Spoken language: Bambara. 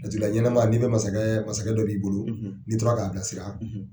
Jatigi ɲɛnama n'i bɛ masakɛ masakɛ dɔ b'i bolo n'i tora k'a bilasira